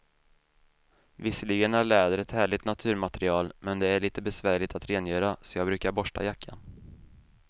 Visserligen är läder ett härligt naturmaterial, men det är lite besvärligt att rengöra, så jag brukar borsta jackan.